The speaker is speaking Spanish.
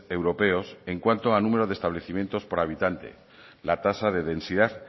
europeos en cuanto a números de establecimientos por habitantes la tasa de densidad